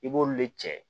I b'olu de cɛ